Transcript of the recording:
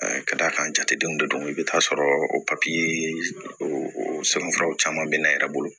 ka d'a kan jatedenw de don i bɛ taa sɔrɔ o papiye sɛbɛn furaw caman bɛ na yɛrɛ